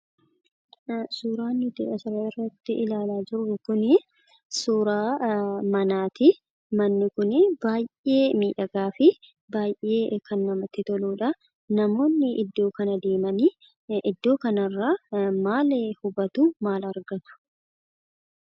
suuraan nuti asirratti ilaalaa jirru kunii suuraa manaatii manni kunii baayyee miidhagaafi baayyee kan namatti toludhaa namoonni iddoo kana deemanii maal hubatu maal argat?